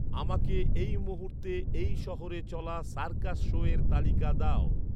আমাকে এই মুহূর্তে এই শহরে চলা সার্কাস শোয়ের তালিকা দাও।